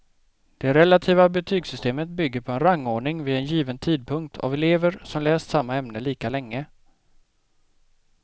Det relativa betygssystemet bygger på en rangordning vid en given tidpunkt av elever som läst samma ämne lika länge.